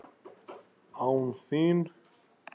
ÁN ÞÍN!?